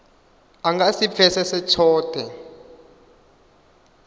a nga si pfesese tshothe